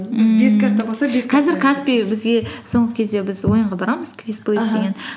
каспи бізге соңғы кезде біз ойынға барамыз